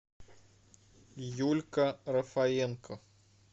юлька рафаенко